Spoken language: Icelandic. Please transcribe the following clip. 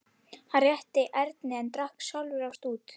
Hann rétti Erni en drakk sjálfur af stút.